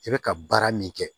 I bɛ ka baara min kɛ